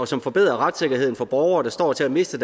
som forbedrer retssikkerheden for borgere der står til at miste